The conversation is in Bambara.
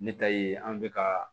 Ne ta ye an bɛ ka